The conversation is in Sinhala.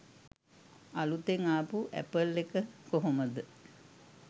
අලුතෙන් ආපු ඇපල් එක කොහොමද